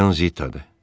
Oxuyan Zitadır.